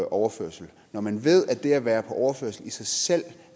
overførsel og når man ved at det at være på overførsel i sig selv